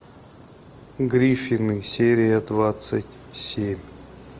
гриффины серия двадцать семь